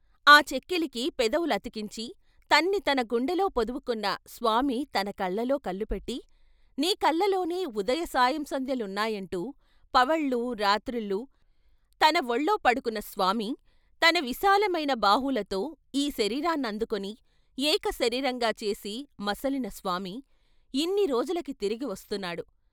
ఆ చెక్కిలికి పెదవులతికించి తన్ని తన గుండెలో పొదుపుకున్న స్వామి తన కళ్ళలో కళ్ళు పెట్టి "నీ కళ్ళలోనే ఉదయ సాయం సంధ్యలున్నాయంటూ పవళ్ళూ రాత్రిళ్ళూ తన వొళ్ళో పడుకున్న స్వామి , తన విశాలమైన బాహువులతో ఈ శరీరాన్నందుకుని ఏక శరీరంగా చేసి మసలిన స్వామి, ఇన్ని రోజులకి తిరిగి వస్తున్నాడు.